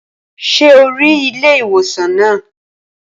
Ṣé o rí ilé ìwòsàn naa?